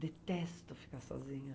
Detesto ficar sozinha.